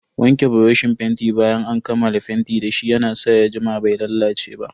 Wanke buroshin fenti bayan an kammala fenti dashi ya na sa ya jima bai lalace ba.